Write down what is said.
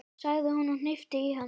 sagði hún og hnippti í hann.